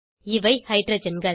இவை ஹைட்ரஜன்கள்